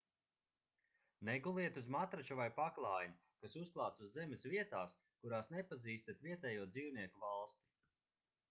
neguliet uz matrača vai paklājiņa kas uzklāts uz zemes vietās kurās nepazīstat vietējo dzīvnieku valsti